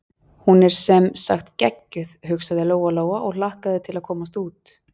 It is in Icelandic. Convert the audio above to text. Hún er sem sagt geggjuð, hugsaði Lóa-Lóa og hlakkaði til að komast út.